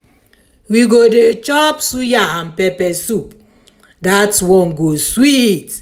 we go dey chop suya and pepper soup dat one go sweet.